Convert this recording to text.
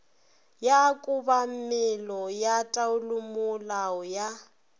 ya kobamelo ya taolomolao ya